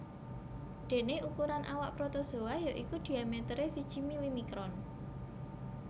Déné ukuran awak protozoa ya iku diameteré siji milimikron